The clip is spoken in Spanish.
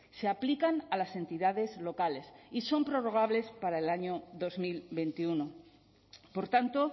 se aplican a las entidades locales y son prorrogables para el año dos mil veintiuno por tanto